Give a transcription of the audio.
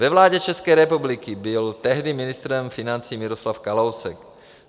Ve vládě České republiky byl tehdy ministrem financí Miroslav Kalousek.